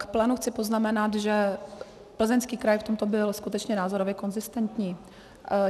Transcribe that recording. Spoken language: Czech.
K plénu chci poznamenat, že Plzeňský kraj v tomto byl skutečně názorově konzistentní.